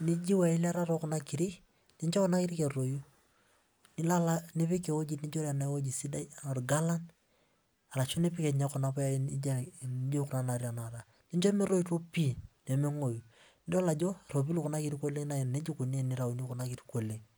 nijiu eilata tookuna kirik, nincho kuna kirik etoyu. Nilo alo nipik ewoji sidai ena orgalan, arashu nipik ninye kuna puyai nijo kuna naatii tenakata. Nincho metoito pii pee mengoyu. Nidol ajo erropil kuna kirrik oleng' naa nejia ikuni tenitayuni kuna kirik oleng'.